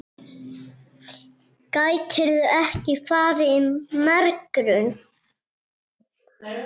Gætirðu ekki farið í megrun?